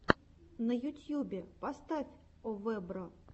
на ютьюбе поставь овэбро